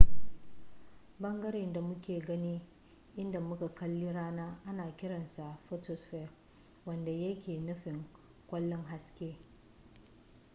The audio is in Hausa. bangaren da muke gani idan muka kalli rana ana kiran sa photosphere wanda yake nufin kwallon haske